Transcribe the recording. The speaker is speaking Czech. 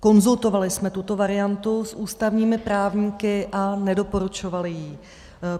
Konzultovali jsme tuto variantu s ústavními právníky a nedoporučovali ji.